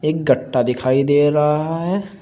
एक गट्टा दिखाई दे रहा है।